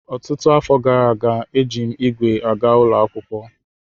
Ọtụtụ afọ gara aga, eji m ígwè aga ụlọ akwụkwọ.